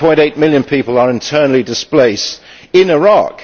1.8 million people are internally displaced in Iraq.